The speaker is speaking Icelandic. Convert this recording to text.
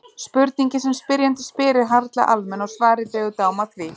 Spurningin sem spyrjandi spyr er harla almenn og svarið dregur dám af því.